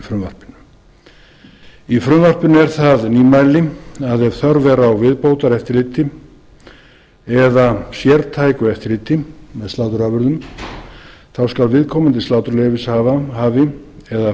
frumvarpinu í frumvarpinu er það nýmæli að ef þörf er á viðbótareftirliti eða sértæku eftirliti með sláturafurðum skuli viðkomandi sláturleyfishafi eða